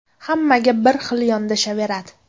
Hammaga bir xil yondashaveradi.